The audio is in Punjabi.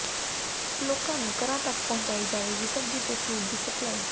ਲੋਕਾਂ ਨੂੰ ਘਰਾਂ ਤੱਕ ਪਹੁੰਚਾਈ ਜਾਵੇਗੀ ਸ਼ਬਜੀ ਅਤੇ ਫਰੂਟ ਦੀ ਸਪਲਾਈ